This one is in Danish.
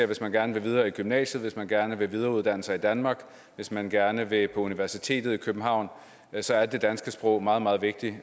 hvis man gerne vil videre i gymnasiet hvis man gerne vil videreuddanne sig i danmark hvis man gerne vil på universitetet i københavn så er det danske sprog meget meget vigtigt